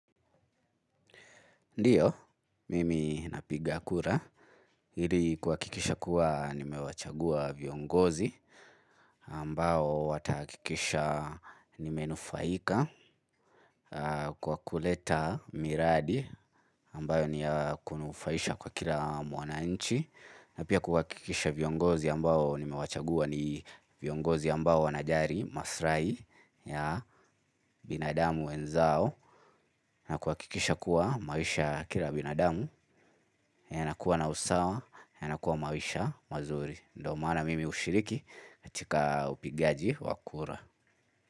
Ndiyo, mimi napiga kura, ili kuhakikisha kuwa nimewachagua viongozi ambao watahakikisha nimenufaika kwa kuleta miradi ambayo ni ya kunufaisha kwa kila mwanchi. Na pia kuhakikisha viongozi ambao nimewachagua ni viongozi ambao wanajali maslai ya binadamu wenzao. Na kuhakikisha kuwa maisha ya kila binadamu yanakuwa na usawa yanakuwa maisha mazuri. Ndo maana mimi hushiriki katika upigaji wa kura.